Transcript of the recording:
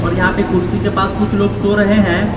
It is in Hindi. और यहां कुर्सी के पास कुछ लोग सो रहे हैं।